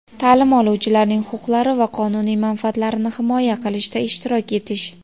taʼlim oluvchilarning huquqlari va qonuniy manfaatlarini himoya qilishda ishtirok etish.